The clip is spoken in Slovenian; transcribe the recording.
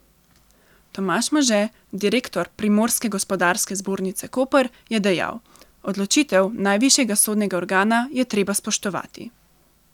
Tomaž Može, direktor Primorske gospodarske zbornice Koper, je dejal: 'Odločitev najvišjega sodnega organa je treba spoštovati.